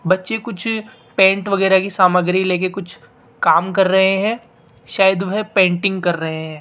बच्चे कुछ पेट वगैरा की सामग्री लेकर कुछ काम कर रहे हैं शायद वह पेंटिंग कर रहे हैं।